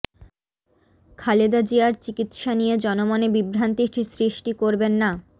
খালেদা জিয়ার চিকিৎসা নিয়ে জনমনে বিভ্রান্তি সৃষ্টি করবেন না